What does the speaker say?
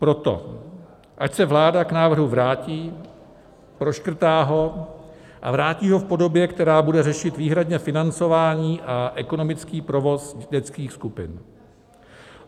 Proto ať se vláda k návrhu vrátí, proškrtá ho a vrátí ho v podobě, která bude řešit výhradně financování a ekonomický provoz dětských skupin.